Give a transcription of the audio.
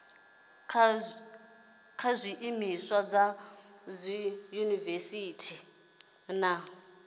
kha zwiimiswa sa dziyunivesiti na